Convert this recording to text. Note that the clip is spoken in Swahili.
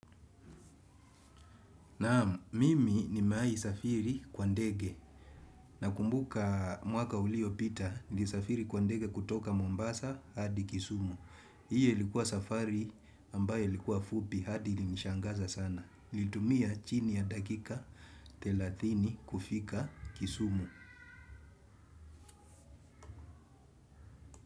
Naam mimi nimewai safiri kwa ndege nakumbuka mwaka uliopita nili safiri kwa ndege kutoka Mombasa hadi kisumu. Hiyo likuwa safari ambayo likuwa fupi hadi ili nishangaza sana. Nilitumia chini ya dakika thelathini kufika kisumu.